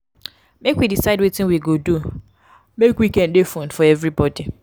make we decide wetin we go do make weekend dey fun for everybodi